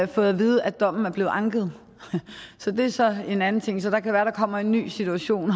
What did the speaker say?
fået at vide at dommen er blevet anket så det er så en anden ting det kan være der kommer en ny situation